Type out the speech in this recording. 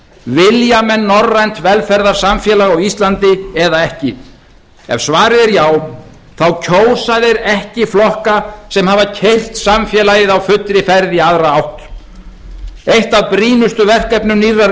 vilja menn norrænt velferðarsamfélag á andi eða ekki ef svarið er já þá kjósa þeir ekki flokka sem hafa keyrt samfélagið á fullri ferð í aðra átt eitt af brýnustu verkefnum nýrrar